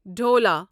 ڈھولا